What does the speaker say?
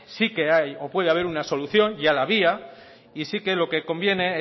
sí que hay o puede haber una solución ya la había y sí que lo que conviene es